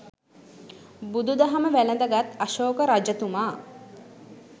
බුදුදහම වැළඳගත් අශෝක රජතුමා